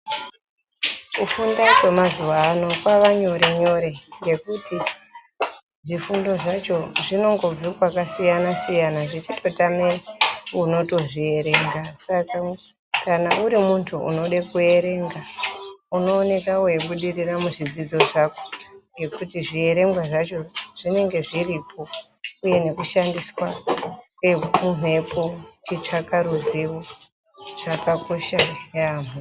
Kufunda kwemazuva ano kwavanyorenyore, zvifundo zvacho zvinobva mundau dzakasiyana-siyana zvechitotama unozvierenga kana uri muntu unoda kuerenga unooneka weibudirira muzvidzidzo zvake ngekuti zvierengwa zvacho zvinenge zviripo uye nekushansiswa kwemumhepo hunenge huripo.